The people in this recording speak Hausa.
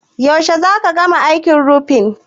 Yaushe za ka gama aikin rufin?